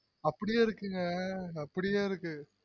அப்டியே இருக்குங்க அப்டியே இருக்கு